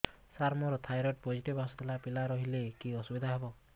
ସାର ମୋର thyroid positive ଆସିଥିଲା ପିଲା ରହିଲେ କି ଅସୁବିଧା ହେବ